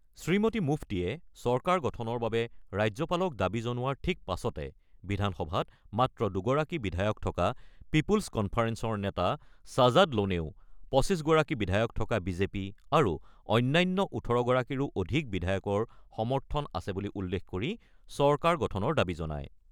শ্ৰীমতী মুফতিয়ে চৰকাৰ গঠনৰ বাবে ৰাজ্যপালক দাবী জনোৱাৰ ঠিক পাছতে বিধানসভাত মাত্ৰ দুগৰাকী বিধায়ক থকা পিপুল্চ কনফাৰেন্সৰ নেতা ছাজাদ ল'নেও ২৫ গৰাকী বিধায়ক থকা বিজেপি আৰু অন্যান্য ১৮ গৰাকীৰো অধিক বিধায়কৰ সমৰ্থন আছে বুলি উল্লেখ কৰি চৰকাৰ গঠনৰ দাবী জনায়।